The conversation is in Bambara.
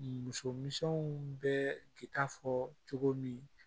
Musominsɛnw bɛ ki ta fɔ cogo min